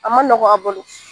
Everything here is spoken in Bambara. A ma nɔgɔ a bolo